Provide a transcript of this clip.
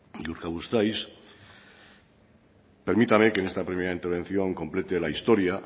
urkabustaiz permítame que en esta primera intervención complete la historia